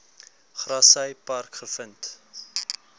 grassy park gevind